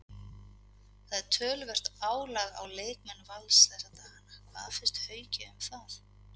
Það er töluvert álag á leikmenn Vals þessa dagana, hvað finnst Hauki um það?